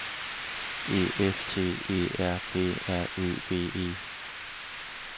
E F T E R P R Ø V E